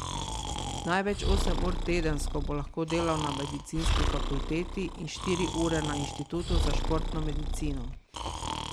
Največ osem ur tedensko bo lahko delal na medicinski fakulteti in štiri ure na inštitutu za športno medicino.